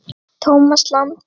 Tómas Ingi.